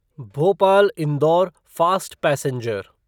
Bhopal Indore fast passenger